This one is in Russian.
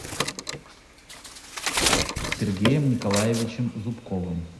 сергеем николаевичем зубковым